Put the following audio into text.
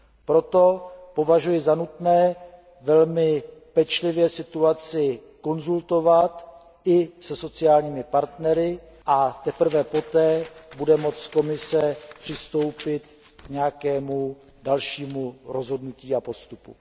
Proto považuji za nutné velmi pečlivě situaci konzultovat i se sociálními partnery a teprve poté bude moci Komise přistoupit k nějakému dalšímu rozhodnutí a postupu.